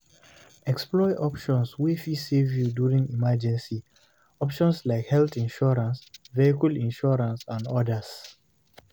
Explore options wey fit save you during emergency, options like health insurance, vehicle insurance and odas